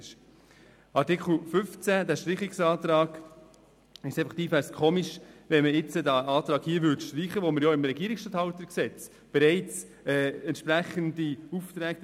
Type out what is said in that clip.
Zum Streichungsantrag zu Artikel 15: Es wäre seltsam, wenn dieser Artikel gestrichen würde, denn im Gesetz über die Regierungsstatthalterinnen und Regierungsstatthalter (RStG) werden den Regierungsstatthaltern bereits entsprechende Aufträge erteilt.